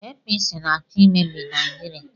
APC na-achọ imebi Naijiria.